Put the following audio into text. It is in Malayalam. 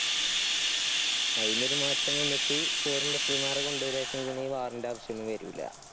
അയിന് ഒരു മാറ്റം വന്ന്ട്ട്, foreign referee മാരെ കൊണ്ടാരാചെങ്കില് ഈ war ന്‍ടെ ആവശ്യൊന്നും വരൂല.